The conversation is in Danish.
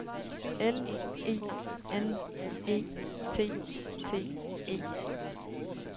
L E N E T T E